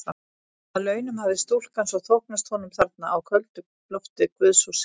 Að launum hafði stúlkan svo þóknast honum þarna á köldu lofti guðshússins.